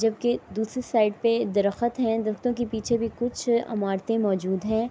جبکی دوسری سائیڈ پی درخت ہے۔ درخت کے پیچھے بھی کچھ اماراتے موزود ہے۔